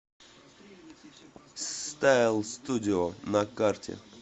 стайл студио на карте